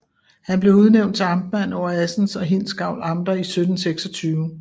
Han blev udnævnt til amtmand over Assens og Hindsgavl Amter i 1726